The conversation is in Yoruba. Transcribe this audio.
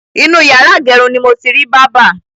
Inú yàrá ìgẹrun ni mo ti rí bábà.